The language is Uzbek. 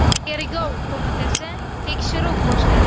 Tergov qo‘mitasi tekshiruv boshladi.